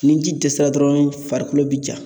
Ni ji dɛsɛra dɔrɔn farikolo bi ja;